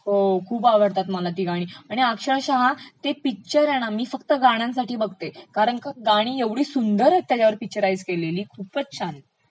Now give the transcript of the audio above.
हो खूप आवडतात मला ती गाणी आणि अक्षरशः ते पिक्चर हे ना मी फ्कत गाण्यांसाठी बघते कारण का गाणी ऐवढी सुंदर पिक्चराइज केलेली आहेत त्याच्यावर खूपचं छान